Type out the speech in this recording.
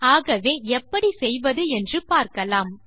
ஆகவே எப்படி செய்வது என்று பார்க்கலாம்